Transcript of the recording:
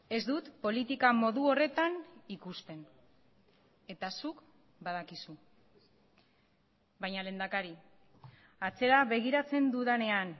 ez dut politika modu horretan ikusten eta zuk badakizu baina lehendakari atzera begiratzen dudanean